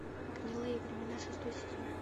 гнилые времена шестой сезон